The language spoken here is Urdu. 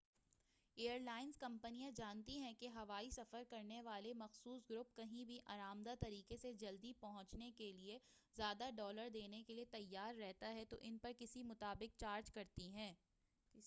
ایئرلائنس کمپنیاں جانتی ہیں کہ ہوائی سفر کرنے والا مخصوص گروپ کہیں بھی آرام دہ طریقے سے جلدی پہنچنے کیلئے زیادہ ڈالر دینے کیلئے تیار رہتا ہے تو ان پر اسی کے مطابق چارج کرتی ہیں